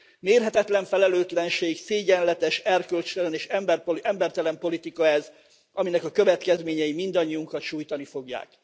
Mérhetetlen felelőtlenség, szégyenletes, erkölcstelen és embertelen politika ez, aminek a következményei mindannyiunkat sújtani fogják.